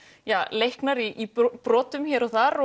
leiknar í brotum hér og þar